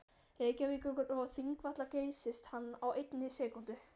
Reykjavíkur og Þingvalla geysist hann á einni sekúndu.